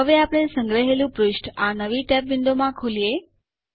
હવે આપણે સંગ્રહેલું પૃષ્ઠ આ નવી ટેબ વિન્ડોમાં ખોલીએ